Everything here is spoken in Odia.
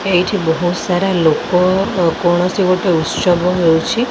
ଏଇଠି ବହୁତ ସାରା ଲୋକ କୌଣସି ଗୋଟିଏ ଉତ୍ସବ ହେଉଛି।